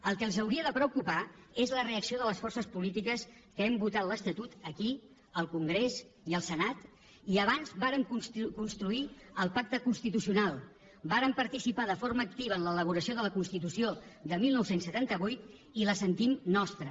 el que els hauria de preocupar és la reacció de les forces polítiques que hem votat l’estatut aquí al congrés i al senat i abans vàrem construir el pacte constitucional vàrem participar de forma activa en l’elaboració de la constitució de dinou setanta vuit i la sentim nostra